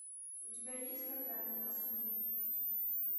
у тебя есть когда они нас увидят